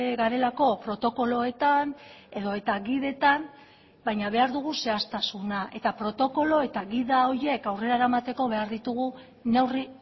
garelako protokoloetan edota gidetan baina behar dugu zehaztasuna eta protokolo eta gida horiek aurrera eramateko behar ditugu neurri